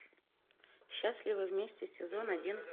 счастливы вместе сезон один